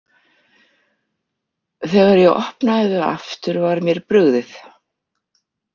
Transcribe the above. Þegar ég opnaði þau aftur var mér brugðið.